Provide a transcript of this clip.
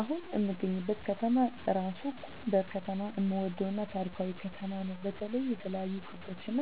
አሁን እምገኝበት ከተማ እራሡ ጎንደር ከተማ እምወደው እና ታሪካዊ ከተማ ነው በተለይ የተለያዮ ቅርሶች እና